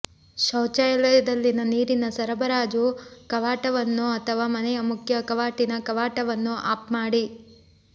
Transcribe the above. ಶೌಚಾಲಯದಲ್ಲಿ ನೀರಿನ ಸರಬರಾಜು ಕವಾಟವನ್ನು ಅಥವಾ ಮನೆಯ ಮುಖ್ಯ ಕವಾಟಿನ ಕವಾಟವನ್ನು ಆಫ್ ಮಾಡಿ